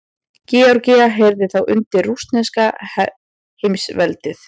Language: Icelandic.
Georgía heyrði þá undir rússneska heimsveldið.